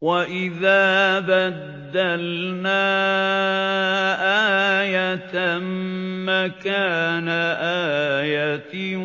وَإِذَا بَدَّلْنَا آيَةً مَّكَانَ آيَةٍ ۙ